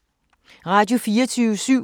Radio24syv